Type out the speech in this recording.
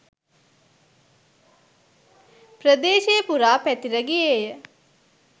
ප්‍රදේශය පුරා පැතිර ගියේය.